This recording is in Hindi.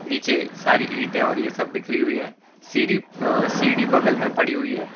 नीचे सारी ईंटे और ये सब बिखरी हुईं है सीढ़ी सीढ़ी बगल में पड़ी हुई है।